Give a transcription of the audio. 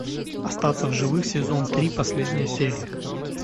остаться в живых сезон три последняя серия